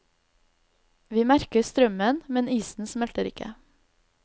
Vi merker strømmen, men isen smelter ikke.